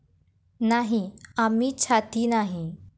नाही, आम्ही छाती नाही.